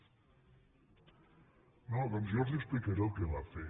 ) no doncs jo els ho explicaré el que va fer